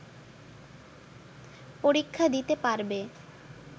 পরীক্ষা দিতে পারবে